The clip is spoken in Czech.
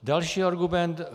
Další argument.